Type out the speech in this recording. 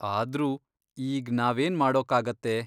ಆದ್ರೂ, ಈಗ್ ನಾವೇನ್ ಮಾಡೋಕ್ಕಾಗತ್ತೆ?